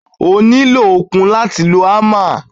O nílò okun láti lo ámà.